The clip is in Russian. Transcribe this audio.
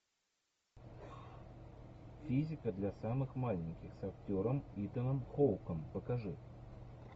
физика для самых маленьких с актером итаном хоуком покажи